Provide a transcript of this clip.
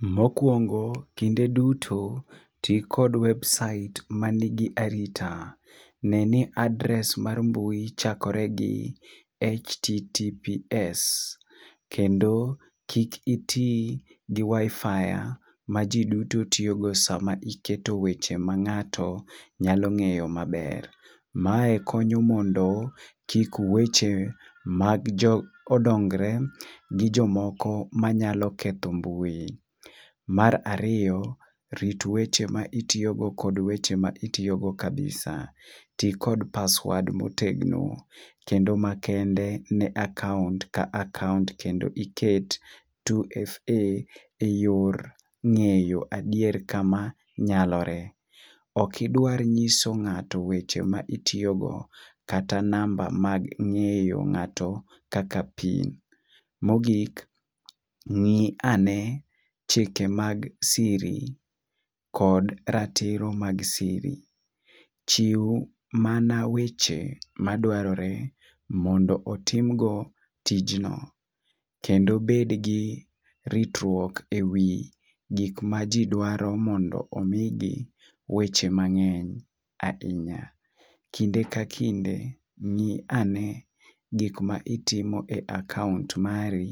Mokwongo kinde duto ti kod website manigi arita neni address mar mbui chakore gi Https kendo kik itii gi waifaya ma jii duto tiyogo seche ma iketo weche ma ng'ato nyalo ng'eyo maber. Mae konyo mondo kik weche mag jo dongre gi jomoko manyalo ketho mbui. Mar ariyo rit weche ma itiyo go kod weche ma itiyo go kabisa tii kod paswad motegno kendo makende ne akaunt ka akaunt kendo iket 2fa yor ng'eyo adier kama nyalore . OK idwar ng'iso ngato weche ma itiyo go kata namba ma imiyo ng'ato kaka pin. Mogik ngi a ne chike mag siri kod ratiro mag siri .Chiw mana weche madwarore mondo otim go tijno . Kendo bed gi ritruok ewi gik ma jii dwaro modno pomigi weche mang'eny ahinya. kinde ka kinde ng'i ane gik ma itimo e akaunt mari